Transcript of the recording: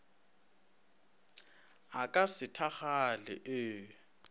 a ka se thakgale ee